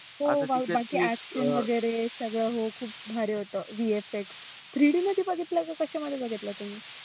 हो बाकी वगैरे सगळ हो खुप भारी होतं BFX three D मध्ये बघितला की कशामध्ये बघितला तुम्ही?